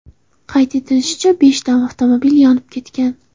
Qayd etilishicha, beshta avtomobil yonib ketgan.